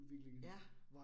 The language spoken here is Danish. Ja